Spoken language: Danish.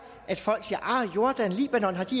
at folk siger har jordan og libanon